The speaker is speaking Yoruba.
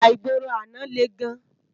Íjà igbóró àná lé gán